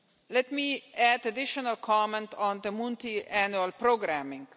Let me add additional comments on the Multiannual programming.